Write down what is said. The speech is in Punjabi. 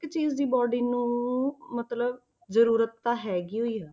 ਚੀਜ਼ ਦੀ body ਨੂੰ ਮਤਲਬ ਜ਼ਰੂਰਤ ਤਾਂ ਹੈਗੀ ਹੋਈ ਆ।